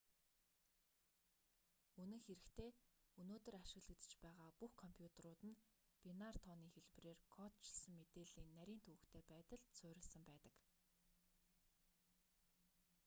үнэн хэрэгтээ өнөөдөр ашиглагдаж байгаа бүх компьютерууд нь бинар тооны хэлбэрээр кодчилсон мэдээллийн нарийн төвөгтэй байдалд суурилсан байдаг